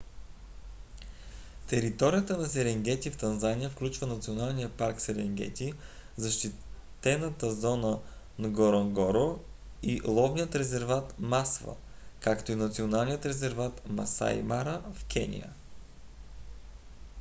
територията на серенгети в танзания включва националния парк серенгети защитената зона нгоронгоро и ловния резерват масва както и националния резерват масаи мара в кения